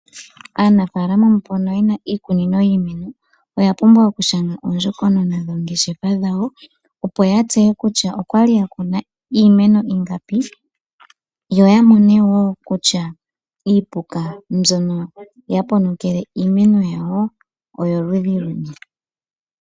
Aanafaalama mbono yena iikunino yiimeno oyapumbwa okushanga oondjokonona dhoongeshefa dhawo. Ya tseye kutya oyali yakuna iimeno ingapi, yo yamone kutya iipuka mbyono ya ponokele iimeno yawo oyoludhi luni.